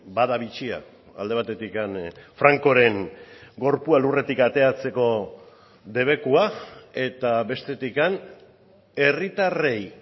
bada bitxia alde batetik francoren gorpua lurretik ateratzeko debekua eta bestetik herritarrei